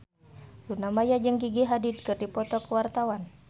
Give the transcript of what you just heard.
Luna Maya jeung Gigi Hadid keur dipoto ku wartawan